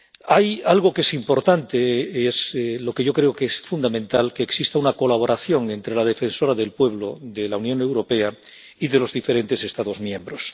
Hay algo que es importante, yo creo que es fundamental que exista una colaboración entre la defensora del pueblo de la Unión Europea y los de los diferentes Estados miembros.